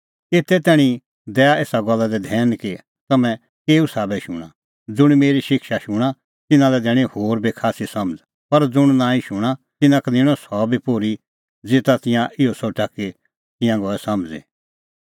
एते तैणीं दै एसा गल्ला दी धैन कि तम्हैं केऊ साबै शूणां ज़ुंण मेरी शिक्षा शूणां तिन्नां लै दैणीं होर बी खास्सी समझ़ पर ज़ुंण नांईं शूणां तिन्नां का निंणअ सह बी पोर्ही ज़ेता तिंयां इहअ सोठा कि तिंयां गऐ समझ़ी